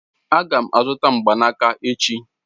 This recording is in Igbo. Aga m azụta mgbanaka echi.